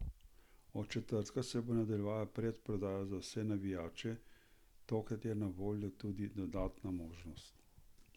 Od četrtka se bo nadaljevala predprodaja za vse navijače, tokrat je na voljo tudi dodatna možnost.